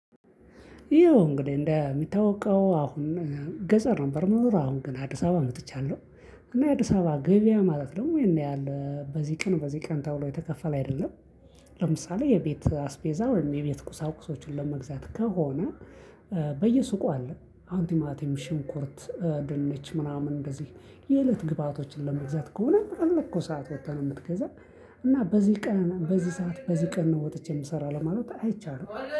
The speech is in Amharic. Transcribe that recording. ይኸው እንግዲህ እንደሚታወቀው አሁን ገለፀህ ነበር። ምኖረው አሁን ግን አዲስ አበባ መጥቻለሁ እና የአዲስ አበባ ገበያ ማለት ነው ያን ያህል በዚህ ቀን በዚህ ቀን ተብሎ የተከፈለ አይደለም ለምሳሌ የቤት አስፔዛ ወይም የቤት ቁሳቁሶችን ለመግዛት ከሆነ በየሱቁ አለ አሁን ቲማቲም፣ ሽንኩርት፣ ድንች ምናምን እንደዚህ የእለት ግብአቶችን ለመግዛት ከሆነ እኮ ሰዓት ወጥተህ ነው የምትገዛው። እና በዚህ ቀን በዚህ ሰዓት በዚህ ቀን ነው ወጥቼ የምሰራው ለማለት አይቻልም።